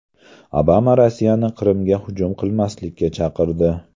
Obama Rossiyani Qrimga hujum qilmaslikka chaqirdi.